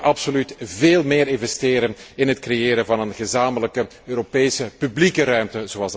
We moeten absoluut veel meer investeren in het creëren van een gezamenlijke Europese publieke ruimte.